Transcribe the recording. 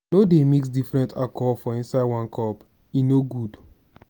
no dey mix different alcohol inside one cup e no good.